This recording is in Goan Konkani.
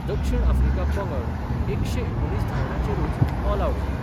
दक्षिण आफ्रिका पंगड एकशे एकुणीस धावंड्याचेरुच ऑलआवट जालो.